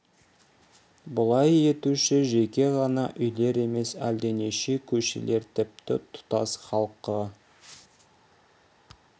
бұлай етуші жеке ғана үйлер емес әлденеше көшелер тіпті тұтас халқы